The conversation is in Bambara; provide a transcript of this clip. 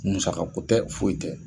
Muaga ko tɛ foyi tɛ,